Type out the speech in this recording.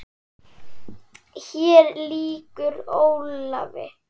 Hér lýkur Ólafi.